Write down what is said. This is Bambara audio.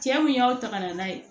Cɛ mun y'aw ta ka na n'a ye